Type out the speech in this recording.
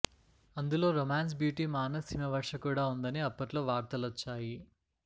అందులో romance beauty Manas Himavarsha కూడా ఉందని అప్పట్లో వార్తలొచ్చాయి